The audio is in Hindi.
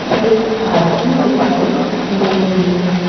एक पार्किंग दिखाई दे रही है।